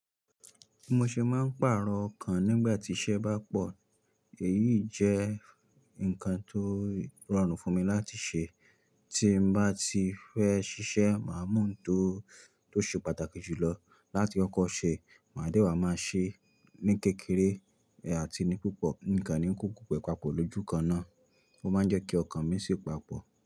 Bi mo ṣe máa ń pàrọ̀ ọkàn nígbà tí iṣẹ́ bá pọ̀. Èyí jẹ́ ǹkan tó rọrùn fún mi láti ṣe. Tí mo bá ti fẹ́ ṣiṣẹ́, màá mú ohun tó, tó ṣe pàtàkì jù lọ láti kọ́kọ́ ṣe. Màá dẹ́wàá máa ṣe ní kékeré àti ni púpọ̀. Ǹkan ni kó gbogbo rẹ̀ papọ̀ lójú kan náà. Ó máa ń jẹ́ kí ọkàn mi sì papọ̀